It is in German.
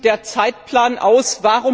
Wie sieht der Zeitplan aus?